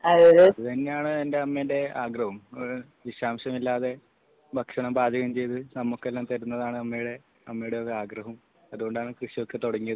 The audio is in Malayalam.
അതെ തന്നെയാണ് എന്റെ അമ്മേന്റെ ഒരാഗ്രഹവും ഒരു വിഷാംശം ഇല്ലാതെ ഭക്ഷണം പാചകം ചെയ്തു നമ്മക്കെല്ലാം തരുന്നതാണ് അമ്മയുടെ ഒരു ആഗ്രഹവും അതുകൊണ്ടാണ് കൃഷിയൊക്കെ തുടങ്ങിയത്